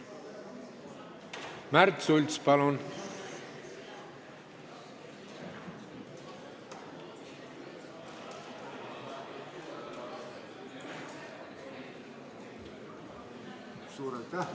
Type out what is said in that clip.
Märt Sults, palun!